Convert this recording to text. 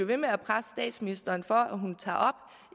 ved med at presse statsministeren for at hun tager op